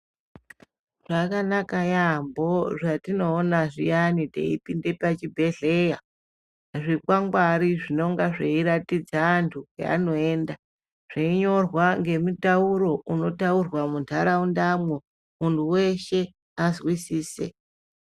Zvakanaka yambo zvatinoona zviyani tepinda pachibhehlera zvikwangwari zvinenge zveratidza andu patinoenda zveinyorwa ngemutauro unotarwa mundaraundamwo kuti mundu weshe azwisise